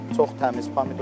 Çox təmiz pomidordur.